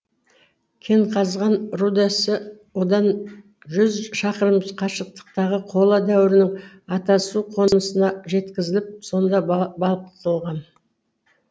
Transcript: кенқазған рудасы одан жүз шақырым қашықтықтағы қола дәуірінің атасу қонысына жеткізіліп сонда балқытылған